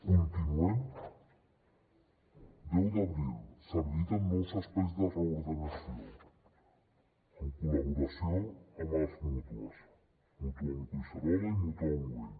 continuem deu d’abril s’habiliten nous espais de reordenació en col·laboració amb les mútues mutuam collserola i mutuam güell